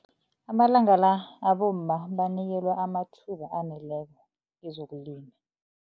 Amalanga la abomma banikelwa amathuba aneleko kezokulima.